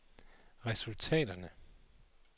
resultaterne